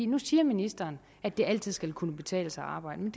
nu siger ministeren at det altid skal kunne betale sig at arbejde men